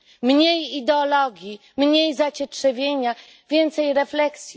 Mniej ideologii, mniej zacietrzewienia, więcej refleksji!